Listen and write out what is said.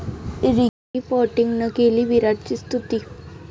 Ricky पाँटिंगनं केली विराटची स्तुती